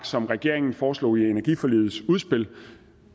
som regeringen foreslog i energiforligets udspil